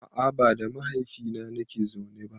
A a ba da mahaifina nake zaune ba.